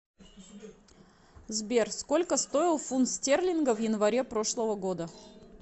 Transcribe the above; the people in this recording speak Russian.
сбер сколько стоил фунт стерлинга в январе прошлого года